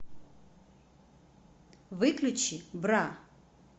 выключи бра